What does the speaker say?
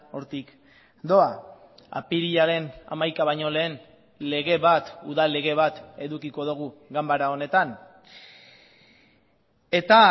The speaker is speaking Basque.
hortik doa apirilaren hamaika baino lehen lege bat udal lege bat edukiko dugu ganbara honetan eta